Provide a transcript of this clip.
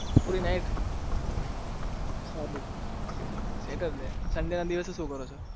પૂરી night ચાલે sunday ના દિવસે શું કરો છો